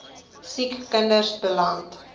siek kinders beland